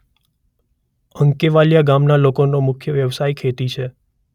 અંકેવાલીયા ગામના લોકોનો મુખ્ય વ્યવસાય ખેતી છે.